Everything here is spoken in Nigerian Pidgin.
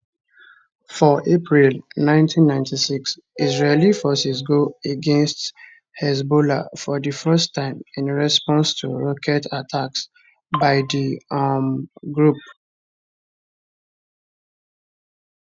for april 1996 israeli forces go against hezbollah for di first time in response to rocket attacks by di um group